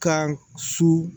Kan su